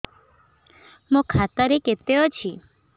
ମୋ ଖାତା ରେ କେତେ ଅଛି